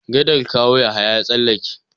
Gadar Kawo Yahaya ya tsallaka.